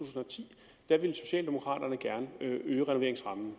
væk ville socialdemokraterne gerne øge renoveringsrammen